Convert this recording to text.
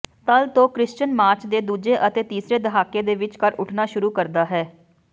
ਤਲ ਤੋਂ Christian March ਦੇ ਦੂਜੇ ਅਤੇ ਤੀਸਰੇ ਦਹਾਕੇ ਦੇ ਵਿਚਕਾਰ ਉੱਠਣਾ ਸ਼ੁਰੂ ਕਰਦਾ ਹੈ